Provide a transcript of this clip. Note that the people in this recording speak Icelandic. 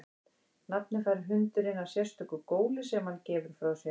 Nafnið fær hundurinn af sérstöku góli sem hann gefur frá sér.